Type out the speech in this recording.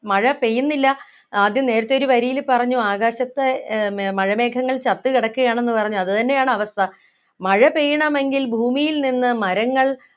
മഴ പെയ്യുന്നില്ല ആദ്യം നേരത്തെ ഒരു വരിയിൽ പറഞ്ഞു ആകാശത്ത് ഏർ മഴ മേഘങ്ങൾ ചത്ത് കിടക്കുകയാണെന്ന് പറഞ്ഞു അത് തന്നെയാണ് അവസ്ഥ മഴ പെയ്യണമെങ്കിൽ ഭൂമിയിൽ നിന്ന് മരങ്ങൾ